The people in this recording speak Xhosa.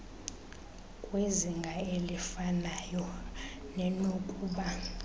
kwizinga elifanayo nenokuba